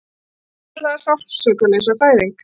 Þessi svokallaða Sársaukalausa fæðing